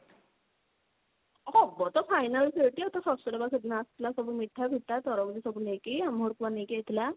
ହବ ତ final ସେଇଠି ଆଉ ତା ଶଶୁର ବା ସେଦିନ ଆସିଥିଲା ସବୁ ମିଠା ଫିଠା ତରଭୁଜ ସବୁ ନେଇକି ଆମ ଘରକୁ ବା ନେଇକି ଆଇଥିଲା।